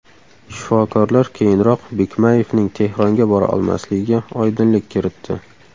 Shifokorlar keyinroq Bikmayevning Tehronga bora olmasligiga oydinlik kiritdi.